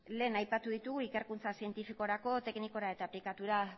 lehen aipatu ditugu ikerkuntza zientifikorako teknikora eta aplikaturako